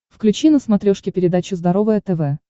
включи на смотрешке передачу здоровое тв